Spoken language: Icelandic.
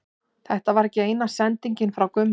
Þetta var ekki eina sendingin frá Gumma.